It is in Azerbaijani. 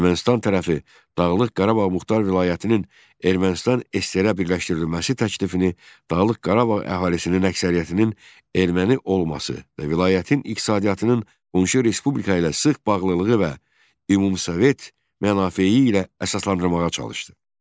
Ermənistan tərəfi Dağlıq Qarabağ Muxtar Vilayətinin Ermənistan SSR-ə birləşdirilməsi təklifini Dağlıq Qarabağ əhalisinin əksəriyyətinin erməni olması və vilayətin iqtisadiyyatının unisi respublika ilə sıx bağlılığı və ümumisovet mənafeyi ilə əsaslandırmağa çalışdı.